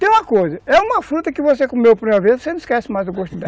Tem uma coisa, é uma fruta que você comeu pela primeira vez, você não esquece mais o gosto dela.